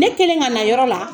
Ne kelen ka na yɔrɔ la.